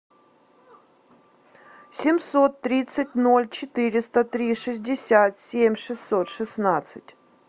семьсот тридцать ноль четыреста три шестьдесят семь шестьсот шестнадцать